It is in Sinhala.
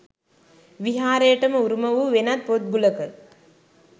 විහාරයටම උරුම වූ වෙනත් පොත් ගුලක